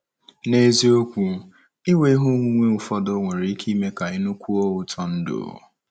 N’eziokwu, inwe ihe onwunwe ụfọdụ nwere ike ime ka ị nụkwuo ụtọ ndụ.